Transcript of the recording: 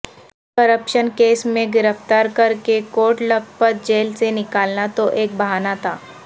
corruption case میں گرفتار کرکے کوٹ لکھپت جیل سے نکالنا تو ایک بہانا تھا